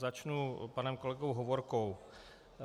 Začnu panem kolegou Hovorkou.